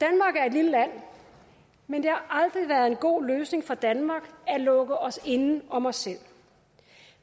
lille land men det har aldrig været en god løsning for danmark at lukke os inde om os selv